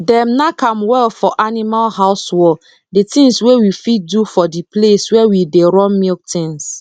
dem nack am well for animal house wall d tins wey we fit do for d place where we dey run milk tins